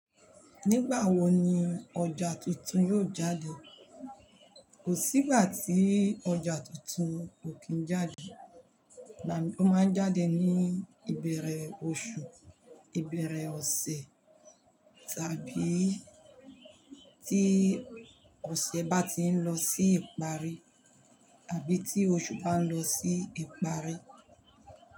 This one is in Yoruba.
Nígbà wo ni ọjà tuntun yóò jáde? Kò sí ìgbà tí ọjà tuntun kò kí ń jáde, igbami ó máa ń jáde ní ìbẹ̀rẹ̀ oṣù, ìbẹ̀rẹ̀ ọ̀sẹ̀ tàbí tí ọ̀sẹ̀ bá ti ń lọ sí ìparí àbí tí oṣù bá ń lọ sí ìparí.